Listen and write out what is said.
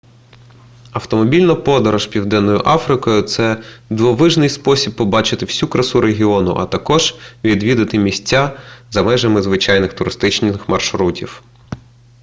автомобільна подорож південною африкою це дивовижний спосіб побачити всю красу регіону а також відвідати місця за межами звичайних туристичних маршрутів